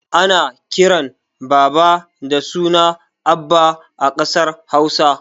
Ana kiran baba da suna abba a ƙasar hausa